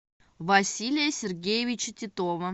василия сергеевича титова